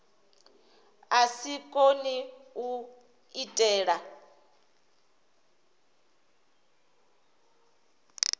a si kone u diitela